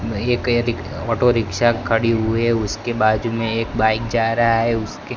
एक यदिक auto rickshaw खड़ी हुई है उसके बाजू में एक बाइक जा रहा है उसके--